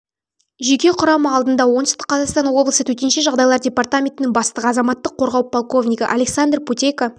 жеке құрамы алдында оңтүстік қазақстан облысы төтенше жағдайлар департаментінің бастығы азаматтық қорғау полковнигі александр путейко